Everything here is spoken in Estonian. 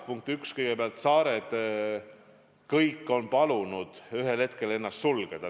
Punkt üks: kõik saared on ühel hetkel palunud ennast sulgeda.